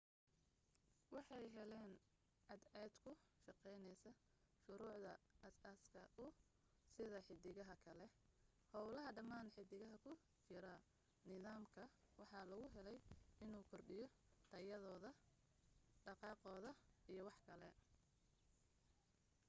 waxay heleen cadceed ku shaqeyneysa shurucda as aaska uu sida xidigaha kale howlaha dhamaan xidigaha ku jira nidaam ka waxaa lagu heley inu kordhiyo tayadooda dhaqaaqoda iyo waxkale